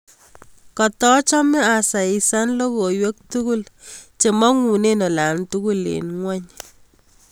Katachame asaisan logoiywek tugul chemang'unen olan tugul en ng'wony